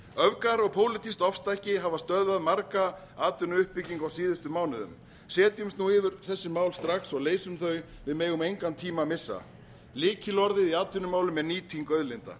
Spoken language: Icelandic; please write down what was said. öfgar og pólitískt ofstæki hafa stöðvað mikla atvinnuuppbyggingu á síðustu mánuðum setjumst nú yfir þessi mál strax og leysum þau við megum engan tíma missa lykilorðin í atvinnumálum eru nýting auðlinda